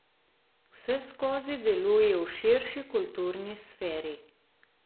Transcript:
Vseskozi deluje v širši kulturni sferi.